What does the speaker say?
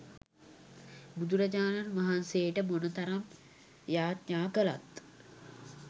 බුදුරජාණන් වහන්සේට මොන තරම් යාඥා කලත්